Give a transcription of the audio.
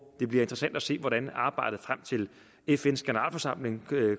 det bliver interessant at se hvordan arbejdet frem til fns generalforsamling